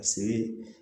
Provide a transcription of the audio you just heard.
Ka see